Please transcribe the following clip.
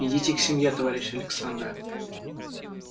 идите к семье товарищ александра